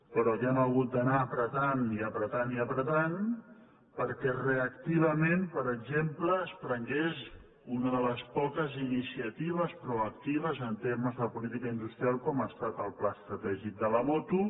però que hem hagut d’anar pressionant i pressi·onant i pressionant perquè reactivament per exemple es prengués una de les poques iniciatives proactives en temes de política industrial com ha estat el pla estra·tègic de la moto